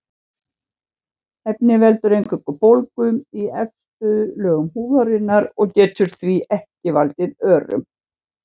Efnið veldur eingöngu bólgu í efstu lögum húðarinnar og getur því ekki valdið örum.